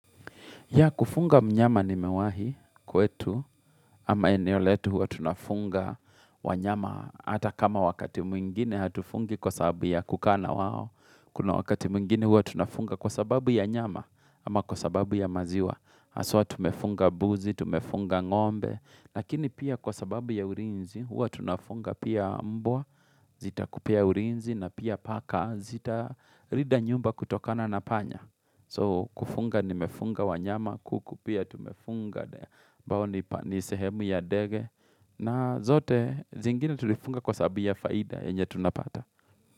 Ya kufunga mnyama nimewahi kwetu ama eneo letu huwa tunafunga wanyama hata kama wakati mwingine hatufungi kwa sababu ya kukaa na wao. Kuna wakati mwingine huwa tunafunga kwa sababu ya nyama ama kwa sababu ya maziwa. Haswa tumefunga buzi, tumefunga ng'ombe, lakini pia kwa sababu ya urinzi huwa tunafunga pia mbwa, zita kupea urinzi na pia paka, zita rida nyumba kutokana na panya. So kufunga nimefunga wanyama, kuku pia t mefunga ni sehemu ya ndege na zote zingine tulifunga kwa sababu ya faida yenye tunapata.